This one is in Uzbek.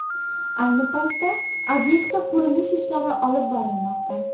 Ayni paytda obyektda qurilish-ishlari olib borilmoqda.